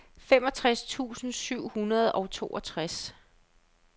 femogtres tusind syv hundrede og toogtres